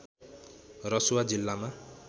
रसुवा जिल्लामा